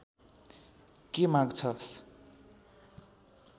के माग्छस्